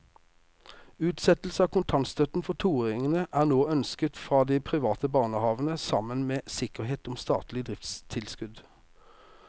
Utsettelse av kontantstøtten for toåringene er nå ønsket fra de private barnehavene sammen med sikkerhet om statlig driftstilskudd.